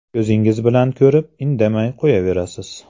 Ko‘zingiz bilan ko‘rib indamay qo‘yaverasiz.